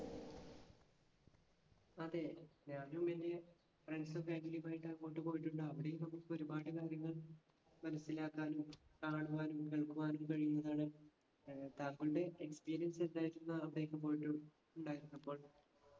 അതെ. ഞാനും എൻ്റെ friends ഉം family ഉമായിട്ട് അങ്ങോട്ട് പോയിട്ടുണ്ട്. അവിടേം നമ്മുക്ക് ഒരുപാട് കാര്യങ്ങൾ മനസ്സിലാക്കാനും കാണുവാനും കഴിയുന്നതാണ്. ഏർ താങ്കളുടെ experience എന്തായിരുന്നു അവിടേക്ക് പോയിട്ട് ഉണ്ടായിരുന്നപ്പോൾ?